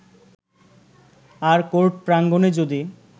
আর court প্রাঙ্গণে যদি